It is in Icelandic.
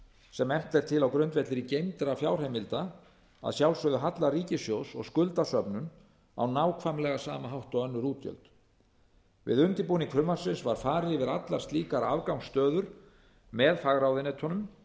sem efnt er til á grundvelli geymdra fjárheimilda að sjálfsögðu halla ríkissjóðs og skuldasöfnun á nákvæmlega sama hátt og önnur útgjöld við undirbúning frumvarpsins var farið yfir allar slíkar afgangsstöður með fagráðuneytum